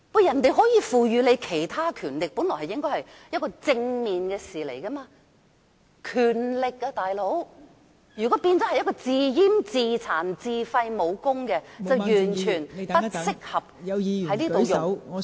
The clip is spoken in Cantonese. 香港可獲賦予其他權力，本來是正面的事，但如果變成自閹、自殘、自廢武功便完全不適合......